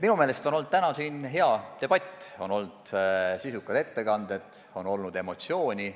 Minu meelest on täna siin hea debatt olnud: on olnud sisukad ettekanded, on olnud emotsioone.